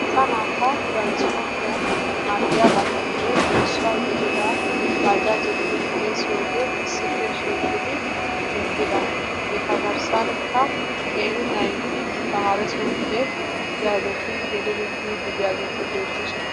Asaa naata tirasporttiyaan maaddiyaabatuppe issuwaa gidida bajaajiyaa giidi xeessiyoogee issippe shiqiidi eqqida eta garssanikka qeeri naati tamaresooppe yaageti gelidi biidi diyaageti beettoosona.